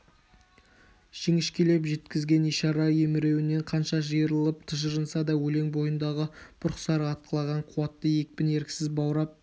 жіңішкелеп жеткізген ишара емеуріннен қанша жиырылып тыжырынса да өлең бойындағы бұрқ-сарқ атқылаған қуатты екпін еріксіз баурап